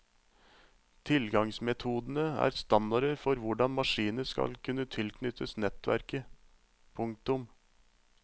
Tilgangsmetodene er standarder for hvordan maskiner skal kunne tilknyttes nettverket. punktum